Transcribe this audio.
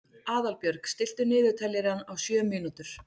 Aðalbjörg, stilltu niðurteljara á sjö mínútur.